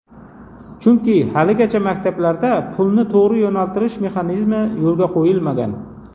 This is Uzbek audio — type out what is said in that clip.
Chunki haligacha maktablarda pulni to‘g‘ri yo‘naltirish mexanizmi yo‘lga qo‘yilmagan.